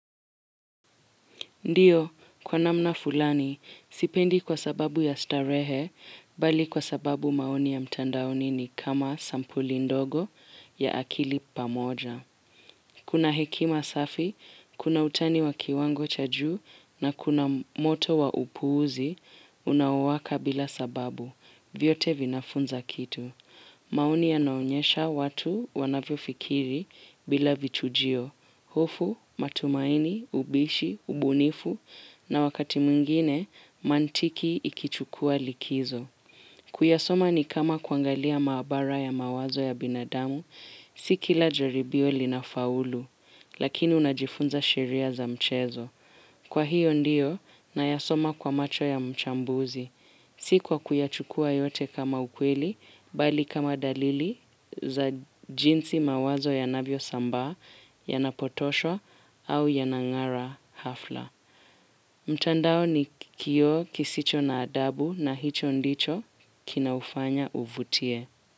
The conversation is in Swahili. Ndiyo, kwa namna fulani, sipendi kwa sababu ya starehe, bali kwa sababu maoni ya mtandaoni ni kama sampuli ndogo ya akili pamoja. Kuna hekima safi, kuna utani wa kiwango cha juu na kuna moto wa upuuzi, unawaka bila sababu, vyote vinafunza kitu. Maoni yanaonyesha watu wanavyofikiri bila vichujio, hofu, matumaini, ubishi, ubunifu na wakati mwingine mantiki ikichukua likizo. Kuyasoma nikama kuangalia maabara ya mawazo ya binadamu, si kila jaribio linafaulu, lakini unajifunza sheria za mchezo. Kwa hiyo ndiyo, nayasoma kwa macho ya mchambuzi. Sikuwa kuyachukua yote kama ukweli, bali kama dalili za jinsi mawazo yanavyosambaa, yanapotoshwa, au yanangara hafla. Mtandao ni kioo kisicho na adabu na hicho ndicho kinaufanya uvutie.